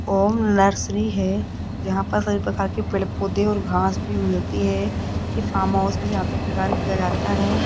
ओम nursery है जहां पर सभी प्रकार के पेड़ पौधे और घास भी मिलती है ये फार्म हाउस में यहां पे तैयार किया जाता है।